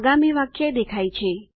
આગામી વાક્ય દેખાય છે